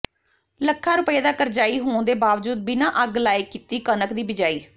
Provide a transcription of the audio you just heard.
ਲੱਖਾਂ ਰੁਪਏ ਦਾ ਕਰਜਾਈ ਹੋਣ ਦੇ ਬਾਵਜੂਦ ਬਿਨ੍ਹਾਂ ਅੱਗ ਲਾਏ ਕੀਤੀ ਕਣਕ ਦੀ ਬਿਜਾਈ